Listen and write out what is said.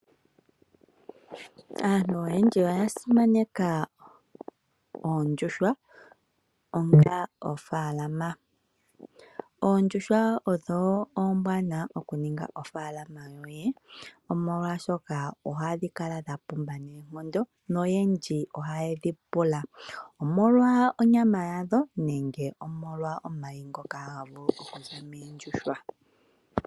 Aantu oyendji oya simaneka oondjuhwa onga ofalama. Oondjuhwa odho ombwanawa oku ningitha ofalama yoye molwashoka ohadhi kala dhapumba nonkondo noyendji ohaye dhi pula omolwa onyama yadho nenge omolwa omayi ngoka haga vulu okuza moondjuhwa.